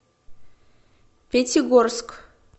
пятигорск